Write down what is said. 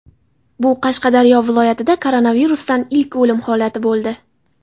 Bu Qashqadaryo viloyatida koronavirusdan ilk o‘lim holati bo‘ldi.